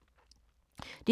DR K